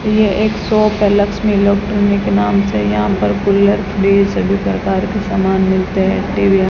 ये एक शॉप है लक्ष्मी इलेक्ट्रॉनिक के नाम से यहां पर कूलर फ्रिज सभी प्रकार के सामान मिलते हैं टी_वी --